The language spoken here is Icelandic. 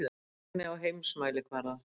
Einlægni á heimsmælikvarða.